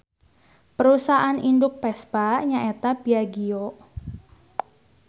Parusahaan induk Vespa nya eta Piaggio.